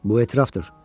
Bu etirafdır.